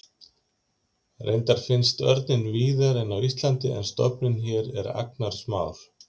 reyndar finnst örninn víðari en á íslandi en stofninn hér er agnarsmár